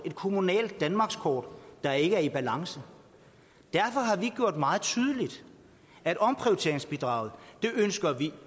et kommunalt danmarkskort der ikke er i balance derfor har vi gjort meget tydeligt at omprioriteringsbidraget ønsker vi